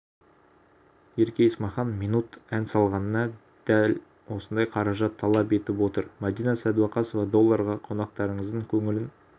ерке есмахан минут ән салғанына дадәл осындай қаражат талап етіп отыр мадина сәдуақасова долларға қонақтарыңыздың көңілін